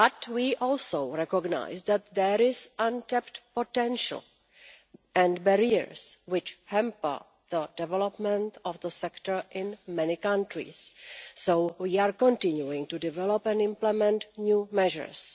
We also recognise that there is untapped potential and barriers which hamper the development of the sector in many countries, so we are continuing to develop and implement new measures.